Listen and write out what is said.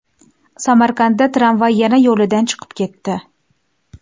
Samarqandda tramvay yana yo‘lidan chiqib ketdi .